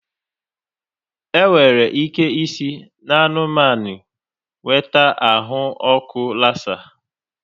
Enwere ike isi n'anụmanụ nweta ahụ ọkụ lassa.